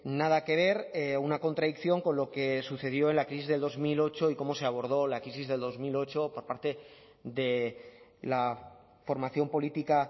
nada que ver una contradicción con lo que sucedió en la crisis del dos mil ocho y cómo se abordó la crisis del dos mil ocho por parte de la formación política